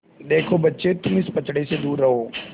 देखो बच्चे तुम इस पचड़े से दूर रहो